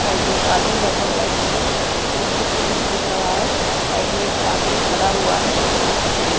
side में एक आदमी बैठा हुआ है जिसने नोटबुक पे कुछ लिख रहा है साइड में एक आदमी खड़ा हुआ है एक औरत भी खड़ी --